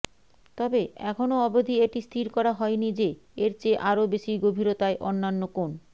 তবে এখন অবধি এটি স্থির করা হয়নি যে এর চেয়ে আরও বেশি গভীরতায় অন্যান্য কোন